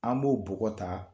An b'o bɔgɔ ta